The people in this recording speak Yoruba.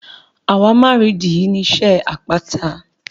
Àwámárììdí ni iṣẹ́ àpáta.